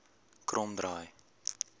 kromdraai